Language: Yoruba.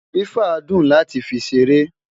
fifa dùn láti fí ṣeré